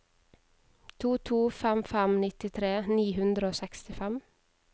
to to fem fem nittitre ni hundre og sekstifem